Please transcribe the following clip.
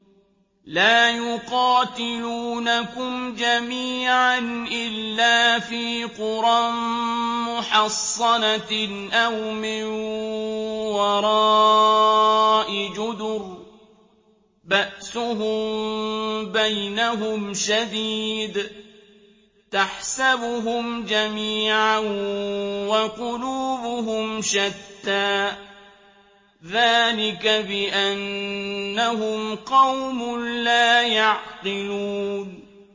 لَا يُقَاتِلُونَكُمْ جَمِيعًا إِلَّا فِي قُرًى مُّحَصَّنَةٍ أَوْ مِن وَرَاءِ جُدُرٍ ۚ بَأْسُهُم بَيْنَهُمْ شَدِيدٌ ۚ تَحْسَبُهُمْ جَمِيعًا وَقُلُوبُهُمْ شَتَّىٰ ۚ ذَٰلِكَ بِأَنَّهُمْ قَوْمٌ لَّا يَعْقِلُونَ